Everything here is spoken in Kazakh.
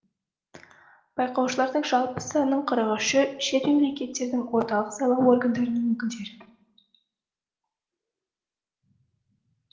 байқаушылардың жалпы санының қырық үші шет мемлекеттердің орталық сайлау органдарының өкілдері